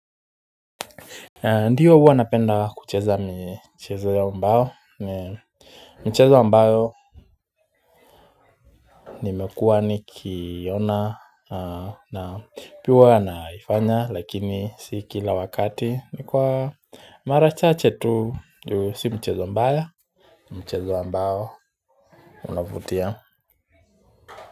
Ndiyo huwa napenda kucheza michezo ya mbao michezo mbao nimekuwa nikiona na piwa naifanya lakini si kila wakati nikuwa mara chache tu juu si mchezo mbaya mchezo mbao unavutia.